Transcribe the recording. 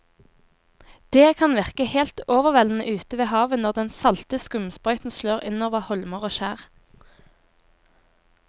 Det kan virke helt overveldende ute ved havet når den salte skumsprøyten slår innover holmer og skjær.